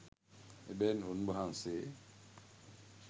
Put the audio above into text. එබැවින් උන්වහන්සේ